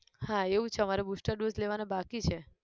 હા એવું છે અમારે booster dose લેવાના બાકી છે